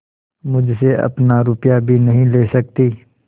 मुझसे अपना रुपया भी नहीं ले सकती